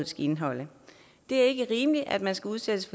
skal indeholde det er ikke rimeligt at man skal udsættes